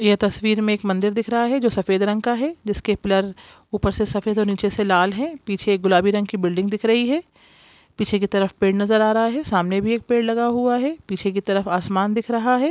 यह तस्वीर मे एक मंदिर दिख रहा है जो सफेद रंग का है जिसके पिलर ऊपर से सफेद और नीचे से लाल है पीछे एक गुलाबी रंग की बिल्डिंग दिख रही है पीछे की तरफ पेड़ नजर आ रहा है सामने भी एक पेड़ लगा हुआ है पीछे की तरफ आसमान दिख रहा है।